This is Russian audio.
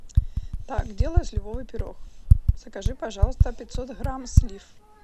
так делаю сливовый пирог закажи пожалуйста пятьсот грамм слив